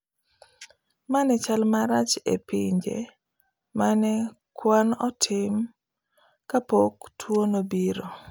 Ma nen chal marach e pinje ma ne kuan otim kapok tuo nobiro